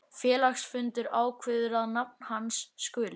Félagsfundur ákveður að nafn hans skuli